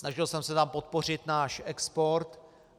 Snažil jsem se tam podpořit náš export.